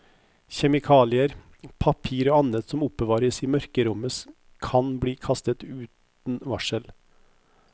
Kjemikalier, papir og annet som oppbevares i mørkerommet kan bli kastet uten varsel.